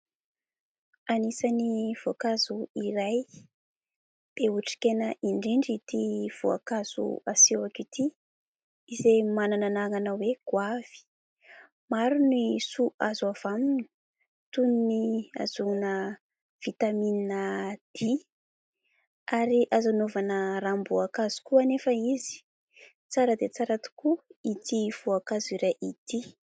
Anisan'ny voankazo iray be otrikaina indrindra ity voankazo asehoako ity, izay manana anarana hoe :« goavy ». Maro ny soa azo avy aminy toy ny : ahazoana vitamina D ary azo hanaovana ranom-boankazo koa anefa izy. Tsara dia tsara tokoa ity voankazo iray ity !